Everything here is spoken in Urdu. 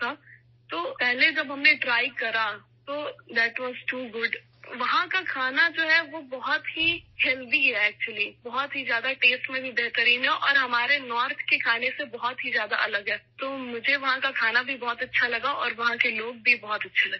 اس لیے جب ہم نے پہلی بار اسے ٹرائی کرا تو یہ بہت مزے کا تھا ! وہاں کا جو کھانا ہے ، وہ بہت صحت بخش ہے، حقیقت میں یہ ذائقے میں بہت اچھا ہے اور یہ ہمارے شمال کے کھانے سے بہت مختلف ہے، اس لیے مجھے وہاں کا کھانا بھی بہت اچھا لگا اور وہاں کے لوگ بھی بہت اچھے لگے